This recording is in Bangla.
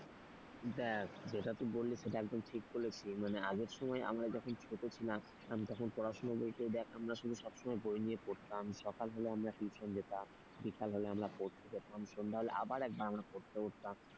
দেখ যেটা তুই বললি সেটা একদম ঠিক বলেছিস মানে আগের সময় আমরা যখন ছোট ছিলাম তখন পড়াশুনা বলতে দেখ আমরা শুধু সব সময় বই নিয়ে পড়তাম। সকাল হলে আমরা টিউশন যেতাম, বিকাল হলে আমরা পড়তে যেতাম, সন্ধ্যা হলে আবার আমরা একবার পড়তে বসতাম।